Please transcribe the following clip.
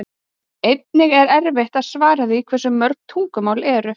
Einnig er erfitt að svara því hversu mörg tungumálin eru.